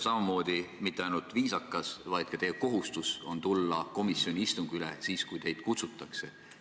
Samamoodi ei ole mitte ainult viisakas, vaid on ka teie kohustus tulla komisjoni istungile siis, kui teid kutsutakse.